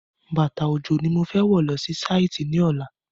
Bàtà òjò ni mo fẹ́ wọ̀ lọ sí Sáìtì ní ọ̀la